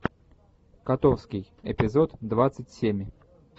котовский эпизод двадцать семь